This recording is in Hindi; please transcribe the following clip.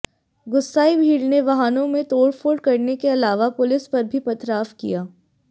गुस्साई भीड़ ने वाहनों में तोड़फोड़ करने के अलावा पुलिस पर भी पथराव किया